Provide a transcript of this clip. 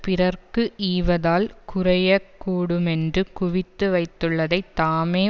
பிறர்க்கு ஈவதால் குறையக் கூடுமென்று குவித்து வைத்துள்ளதைத் தாமே